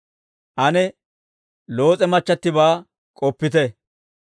Ane Loos'e machchattibaa k'oppite!